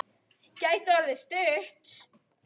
Gæti orðið stuð!